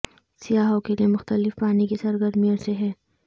سیاحوں کے لیے مختلف پانی کی سرگرمیوں سے ہیں